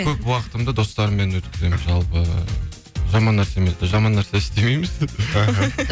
көп уақытымды достарыммен өткіземін жалпы жаман нәрсе істемейміз іхі